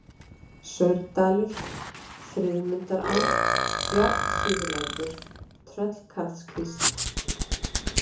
Saurdalur, Friðmundará, Járnsíðulækur, Tröllkarlskvísl